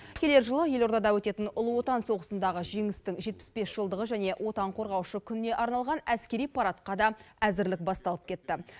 келер жылы елордада өтетін ұлы отан соғысындағы жеңістің жетпіс бес жылдығы және отан қорғаушы күніне арналған әскери парадқа да әзірлік басталып кетті